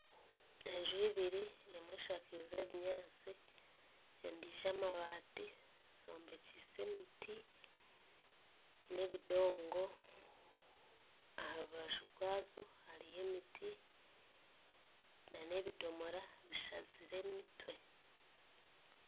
Enju ibiri emwe eshakize ebinyaatsi endijo amabaati zombekyise emiti n'ebindongo aharubaju rwazo hariyo emiti na n'ebidoomora bishazire emitwe.